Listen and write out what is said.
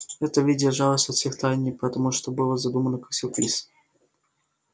это ведь держалось от всех в тайне потому что было задумано как сюрприз